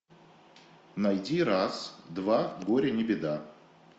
найди раз два горе не беда